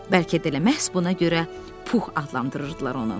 Bəlkə də elə məhz buna görə Pux adlandırırdılar onu.